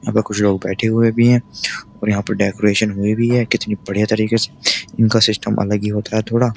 यहाँ पर कुछ लोग बैठे हुए भी हैं और यहाँ पर डेकोरेशन हुई भी है। कितनी बढ़िया तरीके से इनका सिस्टम अलग ही होता है थोड़ा।